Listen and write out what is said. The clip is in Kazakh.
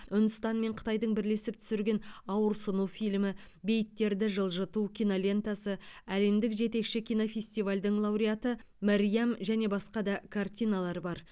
үндістан мен қытайдың бірлесіп түсірген ауырсыну фильмі бейіттерді жылжыту кинолентасы әлемдік жетекші кинофестивальдер лауреаты мәриам және басқа да картиналар бар